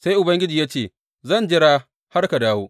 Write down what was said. Sai Ubangiji ya ce, Zan jira har ka dawo.